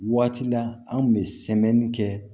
Waati la an kun bɛ sɛmɛnni kɛ